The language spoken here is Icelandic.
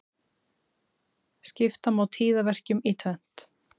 Skipta má tíðaverkjum í tvennt.